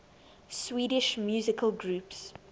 swedish musical groups